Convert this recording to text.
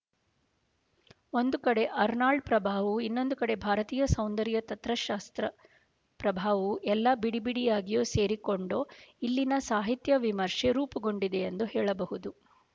ಒಂದು ಕಡೆ ಆರ್ನಾಲ್ಡ್ ಪ್ರಭಾವವೂ ಇನ್ನೊಂದು ಕಡೆ ಭಾರತೀಯ ಸೌಂದರ್ಯ ತತ್ವಶಾಸ್ತ್ರ ಪ್ರಭಾವವೂ ಎಲ್ಲ ಬಿಡಿಬಿಡಿಯಾಗಿಯೋ ಸೇರಿಕೊಂಡೋ ಇಲ್ಲಿನ ಸಾಹಿತ್ಯ ವಿಮರ್ಷೆ ರೂಪುಗೊಂಡಿದೆಯೆಂದು ಹೇಳಬಹುದು